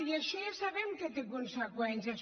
i això ja sabem que té conseqüències